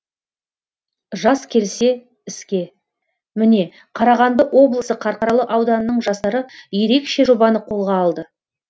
жас келсе іске міне қарағанды облысы қарқаралы ауданының жастары ерекше жобаны қолға алды